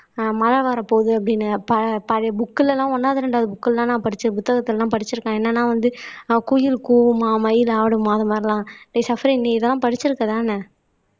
ஆஹ் மழை வரப்போகுது அப்படீன்னு ப பழைய புக்ல எல்லாம் ஒண்ணாவது ரெண்டாவது புக் எல்லாம் நான் படிச்ச புத்தகத்தை எல்லாம் படிச்சிருக்கேன் என்னன்னா வந்து குயில் கூவமா மயில் ஆடுமாம் அது மாதிரி எல்லாம் சஃப்ரின் நீதான் படிச்சிருக்கதானே